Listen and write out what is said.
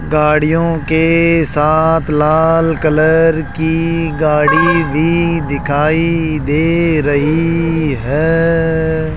गाड़ियों के साथ लाल कलर की गाड़ी भी दिखाई दे रही है।